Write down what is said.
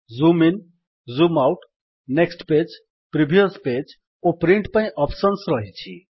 zoom in zoom out next page previous page ଓ print ପାଇଁ options ରହିଛି